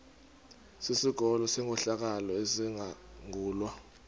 sikolo senkohlakalo esizangulwa